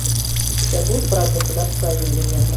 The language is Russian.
у тебя будет враг государства один легенда